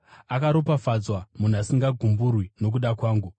Akaropafadzwa munhu asingagumburwi nokuda kwangu.”